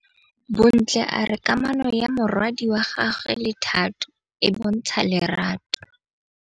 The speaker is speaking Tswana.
Bontle a re kamanô ya morwadi wa gagwe le Thato e bontsha lerato.